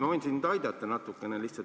Ma võin sind lihtsalt natukene aidata.